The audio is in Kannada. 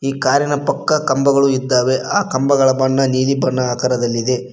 ಈ ಕಾರಿನ ಪಕ್ಕ ಕಂಬಗಳು ಇದ್ದಾವೆ ಆ ಕಂಬಗಳ ಬಣ್ಣ ನೀಲಿ ಬಣ್ಣದ ಆಕರದಲ್ಲಿದೆ.